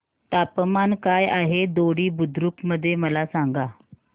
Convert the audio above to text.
तापमान काय आहे दोडी बुद्रुक मध्ये मला सांगा